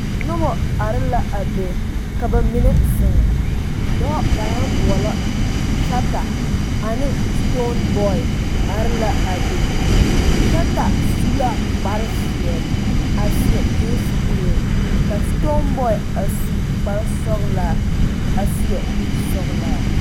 Noba are la a be ka ba mine zeŋ, dɔɔ ba naŋ boɔlɔ Shatta ane Stoneboy are la a be Shatta su la kpare zeɛ, a seɛ gense kuree ka Stoneboy a su kpare sɔglaa a seɛ kur sɔglaa.